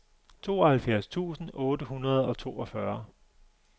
tooghalvfjerds tusind otte hundrede og toogfyrre